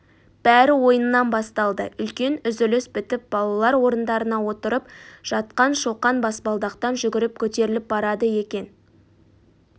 бәрі ойыннан басталды үлкен үзіліс бітіп балалар орындарына отырып жатқан шоқан баспалдақтан жүгіріп көтеріліп барады екен